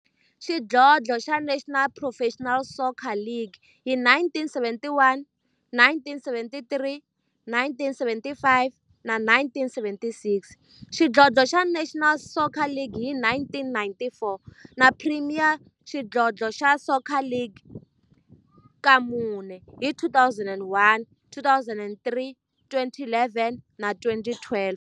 xidlodlo xa National Professional Soccer League hi 1971, 1973, 1975 na 1976, xidlodlo xa National Soccer League hi 1994, na Premier Xidlodlo xa Soccer League ka mune, hi 2001, 2003, 2011 na 2012.